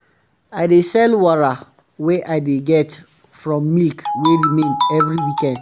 i dey sell wara wey i dey get from milk wey remain every weekend